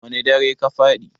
wane darai ka faɗi?